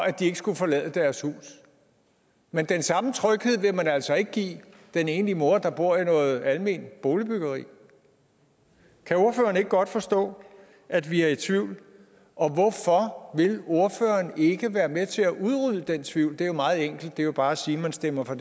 at de ikke skal forlade deres hus men den samme tryghed vil man altså ikke give den enlige mor der bor i noget alment boligbyggeri kan ordføreren ikke godt forstå at vi er i tvivl og hvorfor vil ordføreren ikke være med til at udrydde den tvivl det er jo meget enkelt det er jo bare at sige at man stemmer for